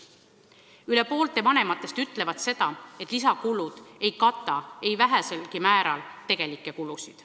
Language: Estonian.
Rohkem kui pooled vanemad ütlevad seda, et lisakulud ei kata väheselgi määral tegelikke kulusid.